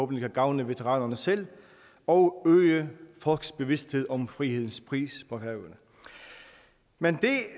kan gavne veteranerne selv og øge folks bevidsthed om frihedens pris på havet men det